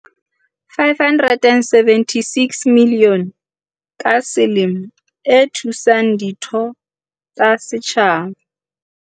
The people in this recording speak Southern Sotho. "R576 milione ka selemo e thusang ditho tsa setjhaba."